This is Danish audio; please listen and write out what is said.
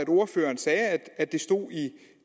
at ordføreren sagde at det stod i